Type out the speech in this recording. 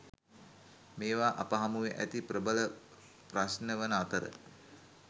මේවා අප හමුවේ ඇති ප්‍රබල ප්‍රශ්නවන අතර